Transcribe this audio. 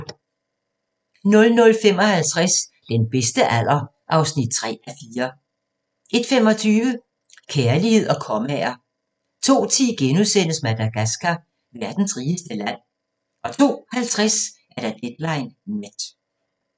00:55: Den bedste alder (3:4) 01:25: Kærlighed og kommaer 02:10: Madagascar – verdens rigeste fattige land * 02:50: Deadline Nat